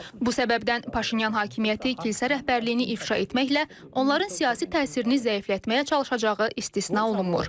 Bu səbəbdən Paşinyan hakimiyyəti kilsə rəhbərliyini ifşa etməklə onların siyasi təsirini zəiflətməyə çalışacağı istisna olunmur.